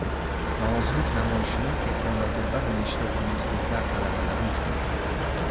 Norozilik namoyishini Tehrondagi bir nechta universitetlar talabalari uyushtirgan.